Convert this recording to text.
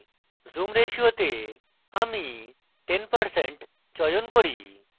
zoom ratio তে আমি 10% চয়ন করি